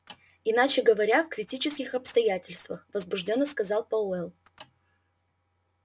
иначе говоря в критических обстоятельствах возбуждённо сказал пауэлл